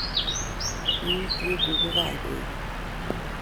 Kiutye kugo kainenyi